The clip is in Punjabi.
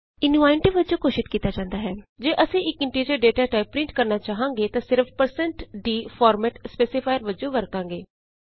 ਇਸਨੂੰ ਆਈਐਨਟੀ ਵਜੋਂ ਘੋਸ਼ਿਤ ਕੀਤਾ ਜਾਂਦਾ ਹੈ ਜੇ ਅਸੀਂ ਇਕ ਇੰਟੀਜ਼ਰ ਡਾਟਾ ਟਾਈਪ ਪਰਿੰਟ ਕਰਨਾ ਚਾਹਾਂਗੇ ਤਾਂ ਅਸੀਂ160 d ਫੋਰਮੈਟ ਸਪੈਸੀਫਾਇਰ ਵਜੋਂ ਵਰਤਾਂਗੇ